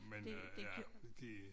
Men øh ja de